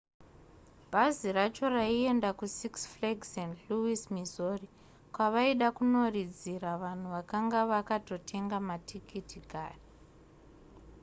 bhazi racho raienda kusix flags st louis missouri kwavaida kunoridzira vanhu vakanga vakatotenga matikiti kare